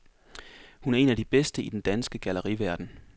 Hun er en af de bedste i den danske galleriverden.